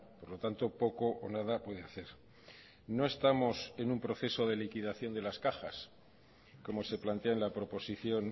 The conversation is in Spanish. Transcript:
por lo tanto poco o nada puede hacer no estamos en un proceso de liquidación de las cajas como se plantea en la proposición